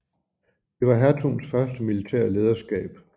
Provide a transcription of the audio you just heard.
Det var hertugens første militære lederskab